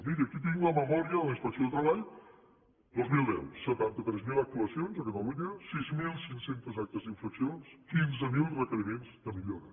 miri aquí tinc la memòria de la inspecció de treball dos mil deu setanta tres mil actuacions a catalunya sis mil cinc cents actes d’infracció quinze mil requeriments de millora